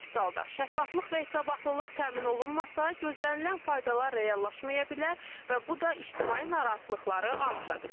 Əks halda şəffaflıq və hesabatlılıq təmin olunmasa, gözlənilən faydalar reallaşmaya bilər və bu da ictimai narahatlıqları artıra bilər.